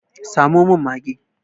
Samo min mage!